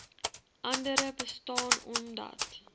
andere bestaan omdat